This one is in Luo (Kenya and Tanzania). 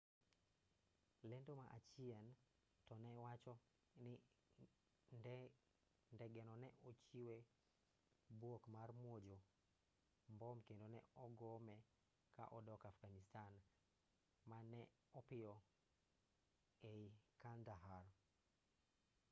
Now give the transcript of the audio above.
lendo ma achien to ne wacho ni ndegeno ne ochiwe bwok mar muojo mbom kendo ne ogome ka odok afghanistan ma ne opiyo ei kandahar